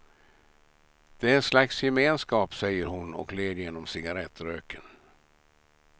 Det är en slags gemenskap, säger hon och ler genom cigarettröken.